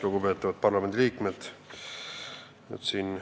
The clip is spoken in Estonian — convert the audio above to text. Lugupeetavad parlamendiliikmed!